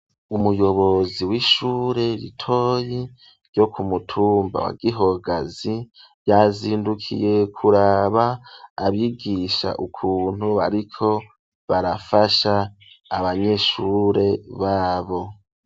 Umuyobozi w'ishure ritoyi ryo kumutumba wa Gihogazi yazindukiye kuraba abigisha ukuntu bariko barafasha abanyeshure babo.